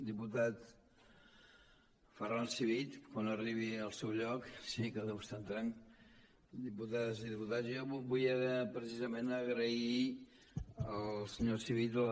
diputat ferran civit quan arribi al seu lloc que deu estar entrant diputades i diputats jo vull precisament agrair al senyor civit la